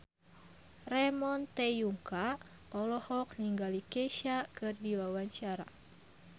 Ramon T. Yungka olohok ningali Kesha keur diwawancara